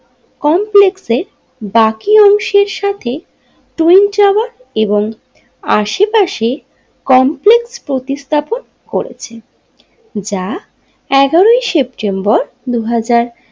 কমপ্লেক্সে বাকি অংশের সাথে টুয়িন টাওয়ার এবং আশেপাশে কমপ্লেক্স প্রতিস্থাপন করেছে যা এগারোয় সেপ্টেম্বর দুহাজার।